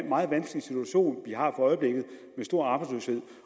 meget vanskelige situation vi har for øjeblikket med stor arbejdsløshed